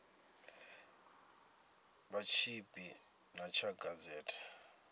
vha tshipi ḓa tsha gazete